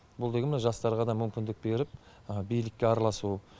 бұл деген мына жастарға да мүмкіндік беріп билікке араласу